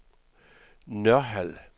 Nørhald